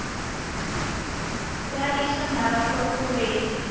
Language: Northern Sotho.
ba iša marapo go beng